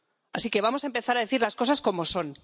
Así que vamos a empezar a decir las cosas como son.